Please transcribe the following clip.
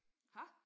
Ha?